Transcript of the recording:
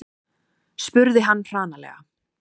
spurði hann hranalega.